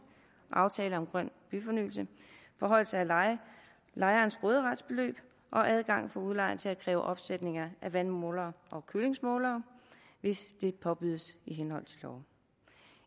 aftale om grøn byfornyelse forhøjelse af lejerens råderetsbeløb adgang for udlejeren til at kræve opsætning af vandmålere og kølingsmålere hvis det påbydes i henhold til lov